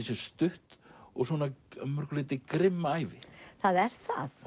sé stutt og að mörgu leyti grimm ævi það er